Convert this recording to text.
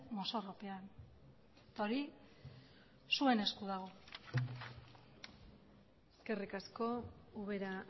mozorropean hori zuen esku dago eskerrik asko ubera